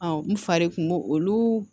n fari kun b'o olu